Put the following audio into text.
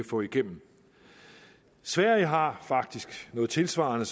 få igennem sverige har faktisk noget tilsvarende